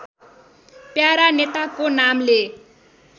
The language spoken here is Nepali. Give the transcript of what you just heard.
प्यारा नेताको नामले